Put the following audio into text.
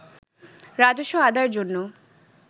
রাজস্ব আদায়ের জন্য